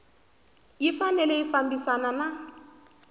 yi fanele yi fambisana na